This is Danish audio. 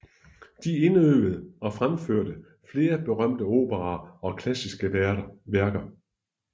De indøvede og fremførte flere berømte operaer og klassiske værker